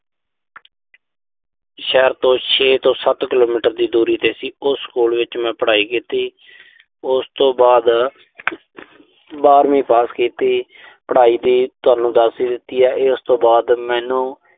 ਸ਼ਹਿਰ ਤੋਂ ਛੇ ਤੋਂ ਸੱਤ ਕਿਲੋਮੀਟਰ ਦੀ ਦੂਰੀ ਤੇ ਸੀ। ਉਸ ਸਕੂਲ ਵਿੱਚ ਮੈਂ ਪੜਾਈ ਕੀਤੀ। ਉਸ ਤੋਂ ਬਾਅਦ ਬਾਰਵੀਂ ਪਾਸ ਕੀਤੀ। ਪੜਾਈ ਦੀ ਤੁਹਾਨੂੰ ਦੱਸ ਈ ਦਿੱਤੀ ਆ ਇਹ। ਉਸ ਤੋਂ ਬਾਅਦ ਮੈਨੂੰ।